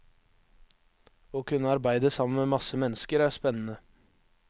Å kunne arbeide sammen med masse mennesker er spennende.